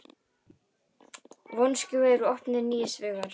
Vonskuveður við opnun nýs vegar